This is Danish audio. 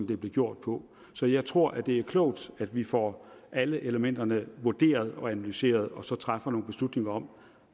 det blev gjort på så jeg tror at det er klogt at vi får alle elementerne vurderet og analyseret og så træffer nogle beslutninger om